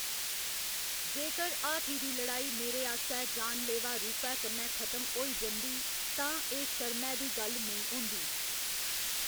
जेकर हाथी दी लड़ाई मेरे आस्सै जानलेवा रूपै कन्नै खत्म होई जंदी, तां एह्‌‌ शर्मै दी गल्ल नेईं होंदी।